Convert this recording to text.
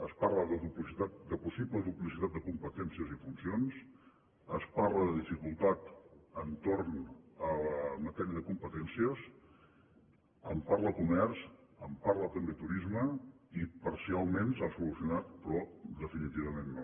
es parla de possible duplicitat de competències i funcions es parla de dificultat entorn a la matèria de competències en parla comerç en parla també turisme i parcialment s’ha solucionat però definitivament no